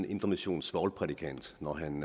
indremissionsk svovlprædikant når han